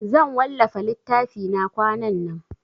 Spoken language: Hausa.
Zan wallafa littafina kwanan nan.